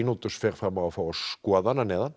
og Sýnódus fer fram á að fá að skoða hann að neðan